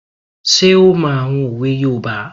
Ṣé ó mọ àwọn òwe yoòbá?